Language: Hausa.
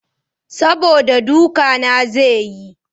Saboda duka na zai yi.